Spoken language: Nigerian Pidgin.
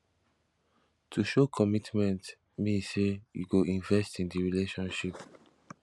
to show commitment mean say you go invest in di relationship